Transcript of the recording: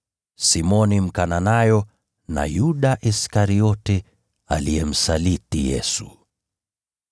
Simoni Mkananayo, na Yuda Iskariote aliyemsaliti Yesu.